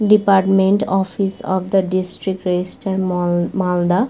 Department office of the district register মাল মালদা ।